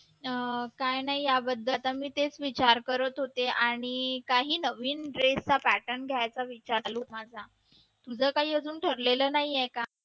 काही नाही याबद्दल आता मी इथेच विचार करत होते आणि काही नवीन dress चा pattern घ्यायचा विचार चालू आहे माझा तुझं काही अजून ठरलेलं नाही आहे का